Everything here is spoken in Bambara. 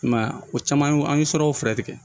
I m'a ye o caman an ye sɔrɔw fɛɛrɛ tigɛ